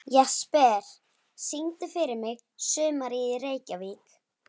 Jesper, syngdu fyrir mig „Sumarið í Reykjavík“.